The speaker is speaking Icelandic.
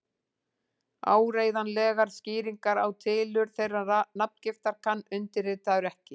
Áreiðanlegar skýringar á tilurð þeirrar nafngiftar kann undirritaður ekki.